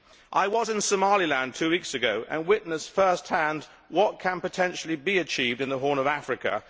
I was in Somaliland two weeks ago and witnessed first hand what can potentially be achieved in the Horn of Africa.